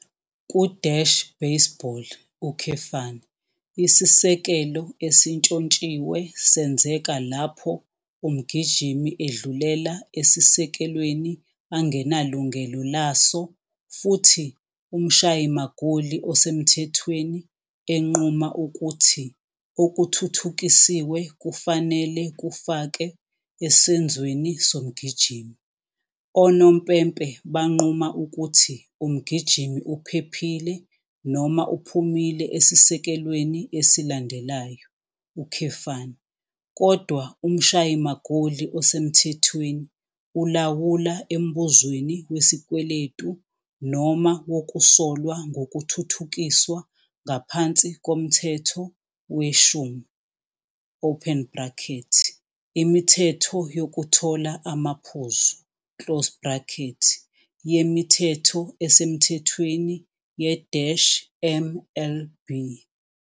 Ku- baseball, isisekelo esintshontshiwe senzeka lapho umgijimi edlulela esisekelweni angenalungelo laso futhi umshayi magoli osemthethweni enquma ukuthi okuthuthukisiwe kufanele kufakwe esenzweni somgijimi. Abanompempe banquma ukuthi umgijimi uphephile noma uphumile esisekelweni esilandelayo, kodwa umshayi magoli osemthethweni ulawula embuzweni wesikweletu noma wokusolwa ngokuthuthukiswa ngaphansi koMthetho 10 open bracket Imithetho Yokuthola Amaphuzu closed bracket yeMithetho Esemthethweni ye-MLB.